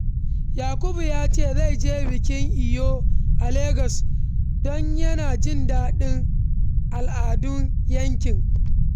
Yakubu ya ce zai je taron Eyo a Legas don yana jin daɗin al’adun yankin.